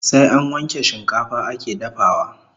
Sai an wanke shikafa ake dafawa